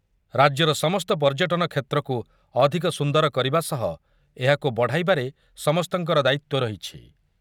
ରାଜ୍ୟର ସମସ୍ତ ପର୍ଯ୍ୟଟନ କ୍ଷେତ୍ରକୁ ଅଧିକ ସୁନ୍ଦର କରିବା ସହ ଏହାକୁ ବଢ଼ାଇବାରେ ସମସ୍ତଙ୍କର ଦାୟିତ୍ୱ ରହିଛି ।